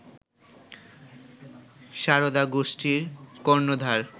সারদা গোষ্ঠীর কর্ণধার